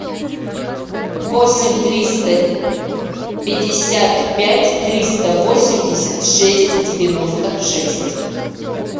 восемь триста пятьдесят пять триста восемьдесят шесть девяносто шесть